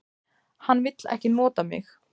Hann vill ekki nota mig.